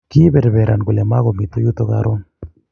kiiber beran kole muku mito yuto karon